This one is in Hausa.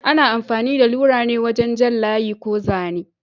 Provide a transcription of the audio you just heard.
Ana amfani da lura ne wajen jan layi ko zane.